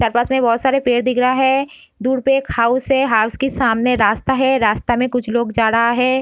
चार पास में बहोत सारे पेड़ दिख रहा है दूर पे एक हाउस है हाउस के सामने रास्ता है रास्ता मै कुछ लोग जा रहा है।